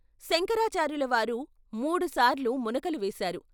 శంకరాచార్యులవారు మూడుసార్లు మునకలు వేశారు.